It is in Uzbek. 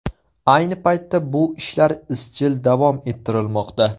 Ayni paytda bu ishlar izchil davom ettirilmoqda.